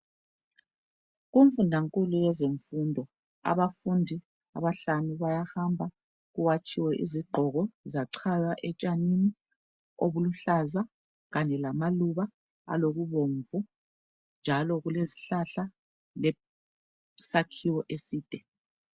Kumfundankulu yezemfundo abafundi abahlanu bayahamba kuwatshiwe izigqoko zachaywa etshanini obuluhlaza kanye lamaluba alokubomvu njalo kulezihlahla lesakhiwo eside.